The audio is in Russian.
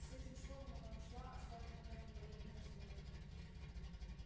с этим словом она ушла оставя меня в упоении восторга